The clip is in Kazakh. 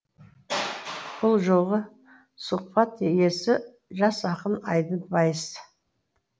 бұл жолғы сұқбат иесі жас ақын айдын байыс